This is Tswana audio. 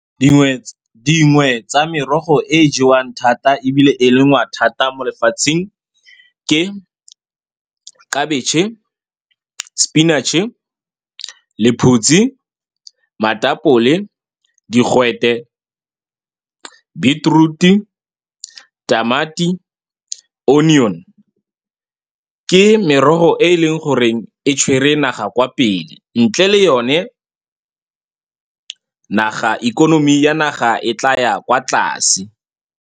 Dingwe , dingwe tsa merogo e e jewang thata, ebile e lengwang thata mo lefatsheng, ke khabetšhe, sepinatšhe, lephutsi, matapole, digwete, beetroot-i, tamati, onion-e. Ke merogo e e leng gore e tshwere naga kwa pele, ntle le yone, naga, ikonomi ya naga e tlaya kwa tlase.